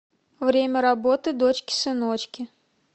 время работы дочки сыночки